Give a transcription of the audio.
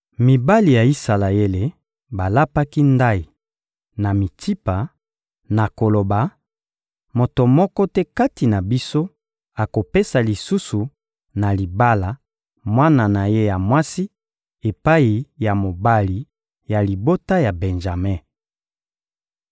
Mibali ya Isalaele balapaki ndayi, na Mitsipa, na koloba: «Moto moko te kati na biso akopesa lisusu na libala mwana na ye ya mwasi epai ya mobali ya libota ya Benjame.»